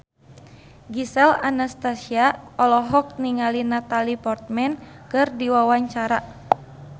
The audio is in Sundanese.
Gisel Anastasia olohok ningali Natalie Portman keur diwawancara